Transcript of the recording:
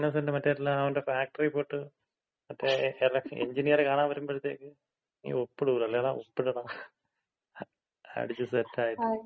ങ്ങാ ഇന്നസെന്‍റ് മറ്റേ അവന്‍റെ ഫാക്ടറി പോയിട്ട് മറ്റേ എഞ്ചിനീയറ് കാണാൻ വരുമ്പഴത്തേയ്ക്ക് നീ ഒപ്പിടൂല്ലല്ലേടാ. ഒപ്പിടടാ. അടിച്ച് സെറ്റായിട്ട്.